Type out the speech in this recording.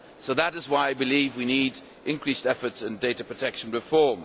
That is why I believe we need increased efforts on data protection reform.